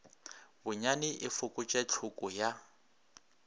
bonyane e fokotše tlhoko ya